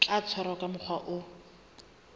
tla tshwarwa ka mokgwa o